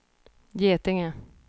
Getinge